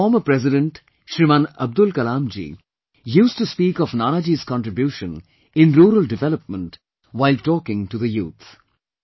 India's former President Shriman Abdul Kalamji used to speak of Nanaji's contribution in rural development while talking to the youth